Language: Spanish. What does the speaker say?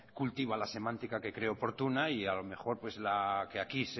cultiva la semántica que cree oportuna y a lo mejor la que aquí